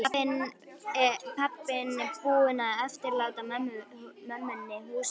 Pabbinn búinn að eftirláta mömmunni húsið.